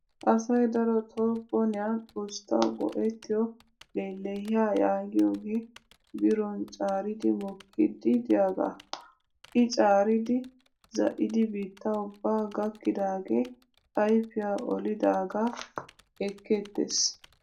Asayi darotoo boniyan usttawu go''ettiyoo lellehiyaa yaagiyoogee biron caaridi mokkiddi diyaagaa. I caaridi zaa'idi biitta ubbaa gakkidaagee aiypiyaa olidaagaa ekkeettes.